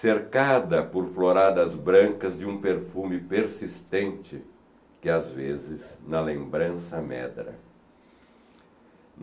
cercada por floradas brancas de um perfume persistente que, às vezes, na lembrança amedra.